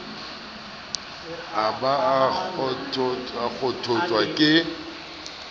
a ba a kgothotswa ke